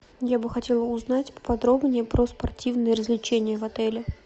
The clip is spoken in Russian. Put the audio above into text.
я бы хотела узнать поподробнее про спортивные развлечения в отеле